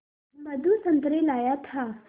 मधु संतरे लाया था